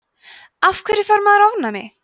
af hverju fær maður ofnæmi